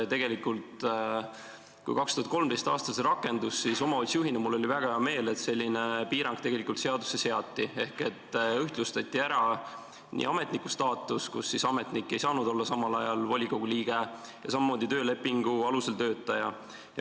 Tegelikult, kui 2013. aastal see piirang rakendus, siis omavalitsusjuhina oli mul väga hea meel, et selline piirang tegelikult seadusesse seati ehk ühtlustati ametniku staatus ja töölepingu alusel töötaja staatus.